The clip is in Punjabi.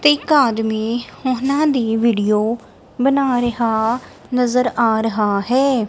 ਤੇ ਇੱਕ ਆਦਮੀ ਉਹਨਾਂ ਦੀ ਵੀਡੀਓ ਬਣਾ ਰਿਹਾ ਨਜ਼ਰ ਆ ਰਹਾ ਹੈ।